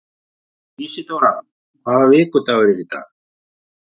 Ísidóra, hvaða vikudagur er í dag?